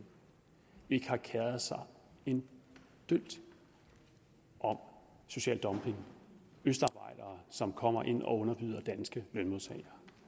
ikke har keret sig en dyt om social dumping østarbejdere som kommer ind og underbyder danske med